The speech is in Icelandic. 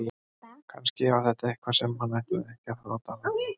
Kannski var þetta eitthvað sem hann ætlaði ekki að láta fara í loftið.